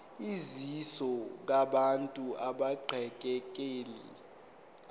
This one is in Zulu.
usizo kubantu abaxekekile